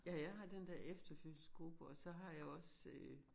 Ja jeg har den der efterfødselsgruppe og så har jeg også øh